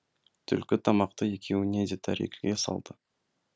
түлкі тамақты екеуіне де тәрелкеге салды